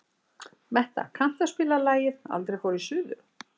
Metta, kanntu að spila lagið „Aldrei fór ég suður“?